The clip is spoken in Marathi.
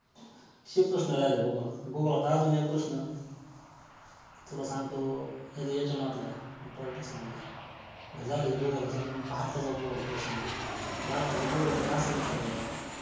टायमाला ते जे five त्यांचे जे पाच दिवस असतात ना त त्या दिवशी ना त्यांना पूर्ण पणे आराम.